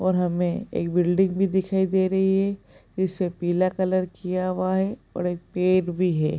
और हमें एक बिल्डिंग भी दिखाई दे रही है। इसे पीला कलर किया हुआ है और एक पेड़ भी है।